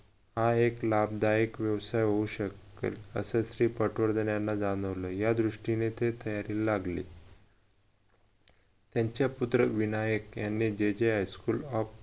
हा एक लाभदायक व्यवसाय होऊ शकेल असच श्री पटवर्धन याना जाणवलं या दृष्टीने ते तयारीला लागले. त्यांचा पुत्र विनायक यांनी J J High school of